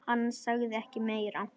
Hann sagði ekki meira.